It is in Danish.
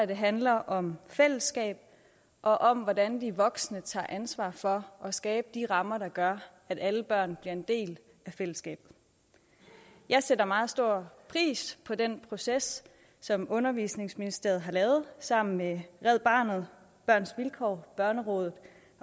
det handler om fællesskab og om hvordan vi voksne tager ansvar for at skabe de rammer der gør at alle børn bliver en del af fællesskabet jeg sætter meget stor pris på den proces som undervisningsministeriet har lavet sammen med red barnet børns vilkår børnerådet